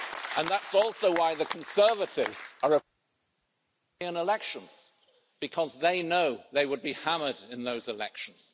And that's also why the Conservatives are European elections, because they know they would be hammered in those elections.